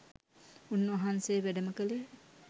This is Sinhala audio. උන් වහන්සේ වැඩම කලේ